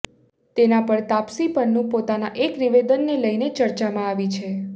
તેના પર તાપસી પન્નૂ પોતાના એક નિવેદનને લઈને ચર્ચામાં આવી છે